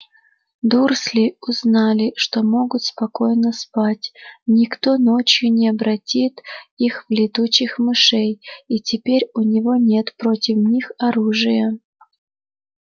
дурсли узнали что могут спокойно спать никто ночью не обратит их в летучих мышей и теперь у него нет против них оружия